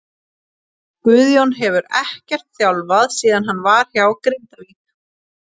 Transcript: Guðjón hefur ekkert þjálfað síðan hann var hjá Grindavík.